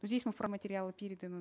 но здесь мы материалы переданы